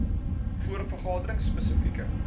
voor vergaderings spesifieke